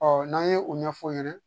n'an ye o ɲɛfɔ ɲɛna